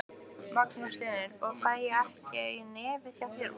Magnús Hlynur: Og fæ ég ekki í nefið hjá þér?